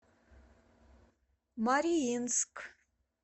мариинск